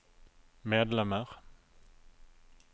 medlemmer